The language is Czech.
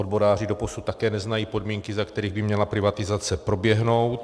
Odboráři doposud také neznají podmínky, za kterých by měla privatizace proběhnout.